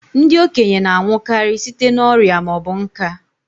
Ndị okenye na-anwụ karị site n'ọrịa ma ọ bụ nká